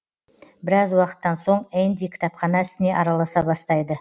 біраз уақыттан соң энди кітапхана ісіне араласа бастайды